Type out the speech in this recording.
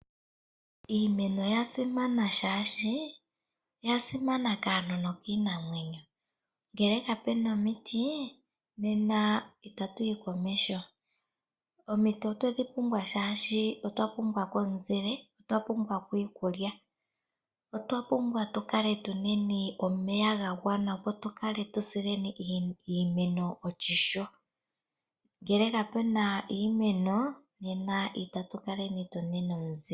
Iimeno oyasimana kaantu nokiinamwenyo, ngele kapena omiti nena itatuyi komeho. Omiti otwedhi pumbwa shashi otwapumbwako omuzile, iikulya, otwapumbwa omeya gagwana nawa opo tu vule okusila iimeno oshimpwiyu ngele kapuna iimeno nena itatukala tuna omuzile.